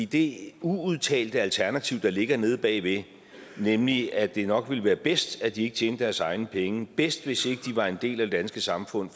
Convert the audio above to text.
det uudtalte alternativ der ligger nede bagved nemlig at det nok ville være bedst at de ikke tjente deres egne penge bedst hvis ikke de var en del af det danske samfund